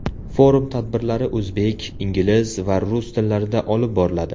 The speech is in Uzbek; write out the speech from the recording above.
Forum tadbirlari o‘zbek, ingliz va rus tillarida olib boriladi.